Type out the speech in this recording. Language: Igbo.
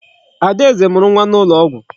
Adaeze mụrụ nwa n'ụlọ ọgwụ.